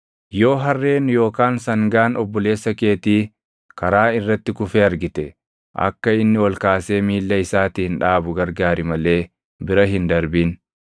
Yoo harreen yookaan sangaan obboleessa keetii karaa irratti kufee argite akka inni ol kaasee miilla isaatiin dhaabu gargaari malee bira hin darbin.